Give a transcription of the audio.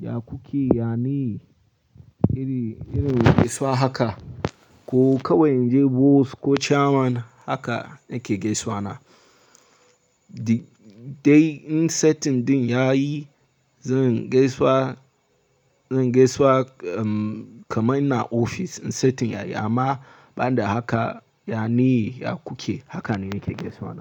ya kuke? Yane? Iri, irin gaisuwa haka. Ko kawai in je boss ko chairman haka nake gaisawa na. Di-- dai in setting ɗin yayi zan gaisawa, zan gaisawa, um, kamar ina ofis in setting yayi amma banda haka, yane, ya kuke? Haka ne nake gaisawa na.